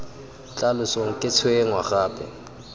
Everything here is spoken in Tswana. tla losong ke tshwenngwa gape